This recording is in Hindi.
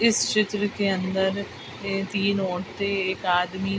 इस चित्र के अंदर ये तीन औरतें एक आदमी --